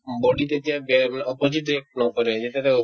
body ত যেতিয়া গে মানে opposite react নকৰে এনেতেতো